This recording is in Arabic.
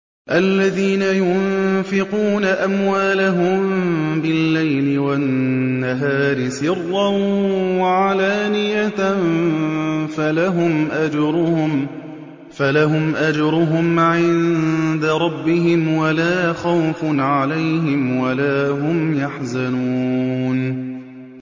الَّذِينَ يُنفِقُونَ أَمْوَالَهُم بِاللَّيْلِ وَالنَّهَارِ سِرًّا وَعَلَانِيَةً فَلَهُمْ أَجْرُهُمْ عِندَ رَبِّهِمْ وَلَا خَوْفٌ عَلَيْهِمْ وَلَا هُمْ يَحْزَنُونَ